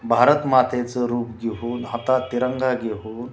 भारत मातेच रूप घेऊन आता तिरंगा घेऊन--